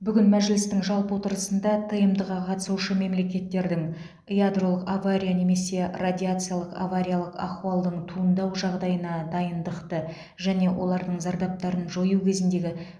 бүгін мәжілістің жалпы отырысында тмд ға қатысушы мемлекеттердің ядролық авария немесе радиациялық авариялық ахуалдың туындау жағдайына дайындықты және олардың зардаптарын жою кезіндегі